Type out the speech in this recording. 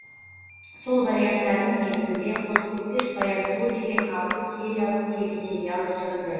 сол варианттардың негізінде қозы көрпеш баян сұлу деген алты сериялық телесериал түсірілді